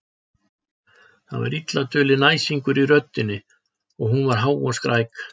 Það var illa dulinn æsingur í röddinni og hún var há og skræk.